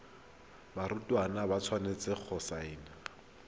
barutwana ba tshwanetse go saena